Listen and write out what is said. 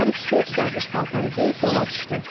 Hər ikisi dərviş paltarı geyib yola düşdü.